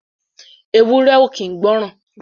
Ewúré ò kín gbọ̀ran.